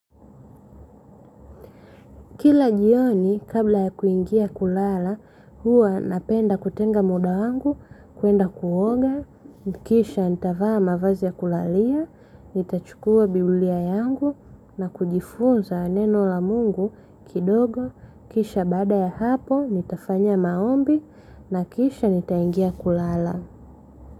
Kila jioni, kabla ya kuingia kulala, huwa napenda kutenga muda wangu, kuenda kuoga, kisha nitavaa mavazi ya kulalia, nitachukua biblia yangu, na kujifunza neno la mungu kidogo, kisha baada ya hapo, nitafanya maombi, na kisha nitaingia kulala.